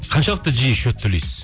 қаншалықты жиі счет төлейсіз